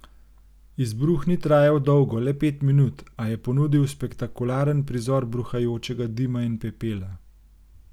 Izbruh ni trajal dolgo, le pet minut, a je ponudil spektakularen prizor bruhajočega dima in pepela.